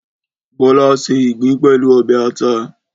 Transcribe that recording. Bọ́lá ṣé ìgbín pẹ̀lú ọbẹ̀ ata.